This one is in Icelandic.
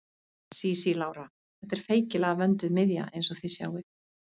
Sísí Lára: Þetta er feikilega vönduð miðja eins og þið sjáið.